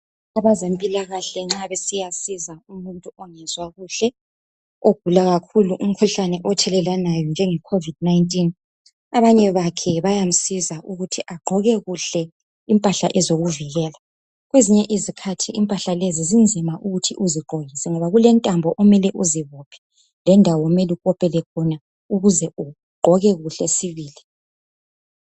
Abezempilakahle nxa besiya siza umuntu ongezwa kuhle ogula kakhulu umkhuhlane othelelwanayo njenge covid 19.Abanye bakhe bayamsiza ukuthi agqoke kuhle impahla ezokuvikela. Kwezinye izikhathi impahla lezi zinzima ukuthi uzigqoke ngoba kulentambo omele uzibophe lendawo omele ukopele khona ukuze ugqoke kuhle sibili.